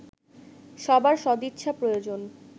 সবার সদিচ্ছা প্রয়োজন